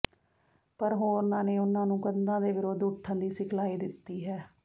ਪਰ ਹੋਰਨਾਂ ਨੇ ਉਨ੍ਹਾਂ ਨੂੰ ਕੰਧਾਂ ਦੇ ਵਿਰੁੱਧ ਉੱਠਣ ਦੀ ਸਿਖਲਾਈ ਦਿੱਤੀ ਹੈ